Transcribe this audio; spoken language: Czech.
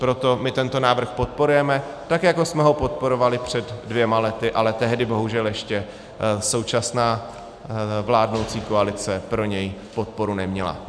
Proto my tento návrh podporujeme, tak jako jsme ho podporovali před dvěma lety, ale tehdy bohužel ještě současná vládnoucí koalice pro něj podporu neměla.